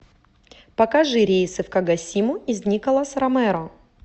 покажи рейсы в кагосиму из николас ромеро